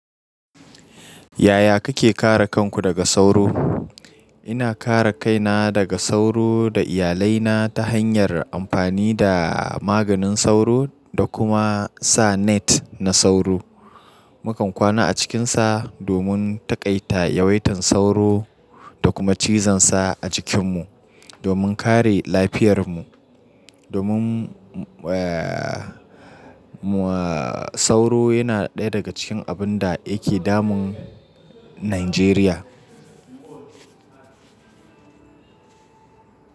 Yaya kake kare kanku daga sauro? Ina kare kaina daga sauro da iyalai na ta hanyar amfani da maganin sauro da kuma sa net na sauro. Mukan kwana a cikinsa domin taƙaita yawaitan sauro da kuma cizansa a jikinmu, domin kare lafiyarmu. Domin, sauro yana ɗaya daga cikin abun da yake damun Najeriya.